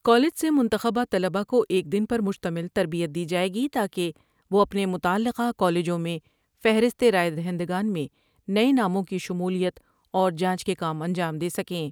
College سے منتخب طلباء کو ایک دن پرمشتمل تربیت دی جاۓ گی تا کہ وہ اپنے متعلقہ کالجوں میں فہرست راۓ دہندگان میں نئے ناموں کی شمولیت اور جانچ کے کام انجام دے سکیں ۔